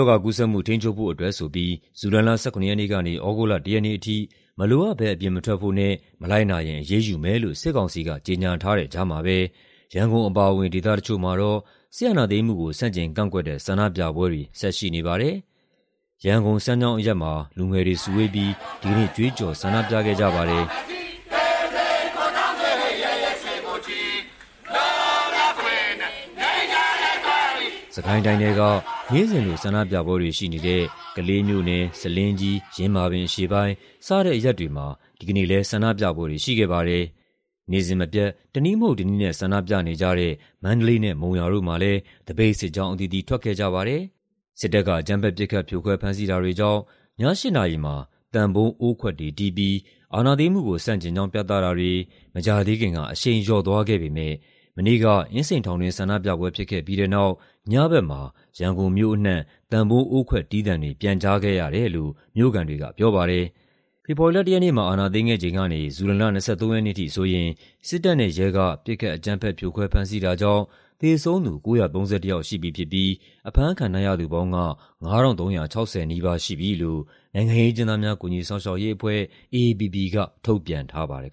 ောဂါကူးစက်မှု ထိန်းချုပ်ဖို့အတွက်ဆိုပြီး ဇူလိုင်လ ၁၇ ရက် နေ့ကနေ သြဂုတ်လ ၁ ရက်နေ့အထိ မလိုအပ်ဘဲ အပြင်မထွက်ဖို့နဲ့ မလိုက်နာရင် အရေးယူမယ်လို့ စစ်ကောင်စီက ကြေညာထားတဲ့ကြားမှာပဲ ရန်ကုန်အပါအဝင် ဒေသတချို့မှာတော့ စစ်အာဏာသိမ်းမှုကို ဆန့်ကျင်ကန့်ကွက်တဲ့ ဆန္ဒပြပွဲတွေ ဆက်ရှိနေပါတယ်။ ရန်ကုန်၊ စမ်းချောင်းအရပ်မှာ လူငယ်တွေစုဝေးပြီး ဒီကနေ့ ကြွေးကျော် ဆန္ဒပြခဲ့ကြပါတယ်။ စစ်ကိုင်းတိုင်းထဲက နေ့စဉ်လို ဆန္ဒပြပွဲတွေရှိနေတဲ့ ကလေးမြို့နယ်၊ ဆားလင်းကြီး၊ ယင်းမာပင်အရှေ့ပိုင်း စတဲ့အရပ်တွေမှာ ဒီကနေ့လည်း ဆန္ဒပြပွဲတွေရှိခဲ့ပါတယ်။ နေ့စဉ်မပြတ် တနည်းမဟုတ်တနည်းနဲ့ ဆန္ဒပြနေကြတဲ့ မန္တလေးနဲ့ မုံရွာတို့မှာလည်း သပိတ်စစ်ကြောင်း အသီးသီးထွက်ခဲ့ကြပါတယ်။ စစ်တပ်က အကြမ်းဖက် ပစ်ခတ် ဖြိုခွဲ ဖမ်းဆီးတာတွေကြောင့် ည ၈ နာရီမှာ သံပုံး အိုးခွက်တွေတီးပြီး အာဏာသိမ်းမှုကို ဆန့်ကျင်ကြောင်း ပြသတာတွေ မကြာသေးခင်က အရှိန်လျော့သွားခဲ့ပေမယ့် မနေ့က အင်းစိန်ထောင်တွင်း ဆန္ဒပြပွဲဖြစ်ခဲ့ပြီးတဲ့နောက် ညဘက်မှာ ရန်ကုန်မြို့အနှံ့ သံပုံး အိုးခွက် တီးသံတွေ ပြန်ကြားခဲ့ရတယ်လို့ မြို့ခံတွေကပြောပါတယ်။ ဖေဖော်ဝါရီလ ၁ ရက်နေ့မှာ အာဏာသိမ်းခဲ့ချိန်ကနေ ဇူလိုင်လ ၂၃ ရက်နေ့ အထိဆိုရင် စစ်တပ်နဲ့ရဲက ပစ်ခတ် အကြမ်းဖက် ပစ်ခတ် ဖြိုခွဲ ဖမ်းဆီးတာကြောင့် သေဆုံးသူ ၉၃၁ ယောက် ရှိပြီဖြစ်ပြီး အဖမ်းခံထားရသူပေါင်းက ၅,၃၆၀ နီးပါး ရှိတယ်လို့ နိုင်ငံရေးအကျဉ်းသားများ ကူညီစောင့်ရှောက်ရေးအဖွဲ့ (AAPP) က ထုတ်ပြန်ထားပါတယ်